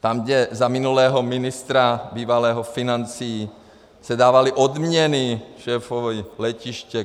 Tam, kde za minulého ministra bývalého financí se dávaly odměny šéfovi letiště.